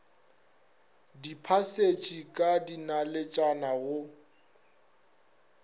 di phasitše ka dinaletšana go